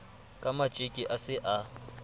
ka matjeke a se a